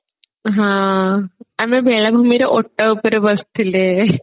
ହଁ ଆମେ ବେଳାଭୂମିରେ ଓଟ ଉପରେ ବସିଥିଲେ